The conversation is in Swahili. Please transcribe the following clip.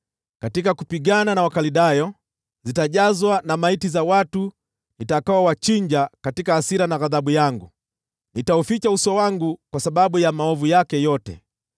katika kupigana na Wakaldayo: ‘Zitajazwa na maiti za watu nitakaowachinja katika hasira na ghadhabu yangu. Nitauficha uso wangu kwa sababu ya maovu yake yote.